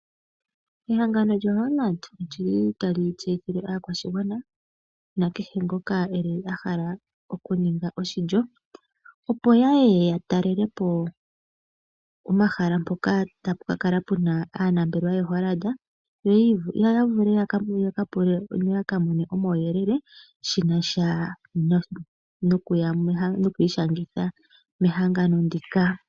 Ehangano lyoHollard olyili tali tseyithile aakwashigwana nakehe ngoka a hala okuninga oshilyo opo ya ye ya talelepo omahala mpoka tapu ka kala pu na aanambelewa yoHollard yo ya vule yaka pule noyaka none omawuyelele shinasha nokwiishangitha mehangano ndika.